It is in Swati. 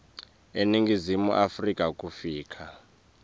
eningizimu afrika kufika